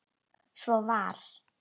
Svo var.